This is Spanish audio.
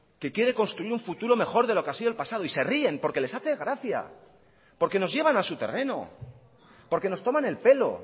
que quiere construir un futuro mejor de lo que ha sido el pasado y se ríen porque les hace gracia porque nos llevan a su terreno porque nos toman el pelo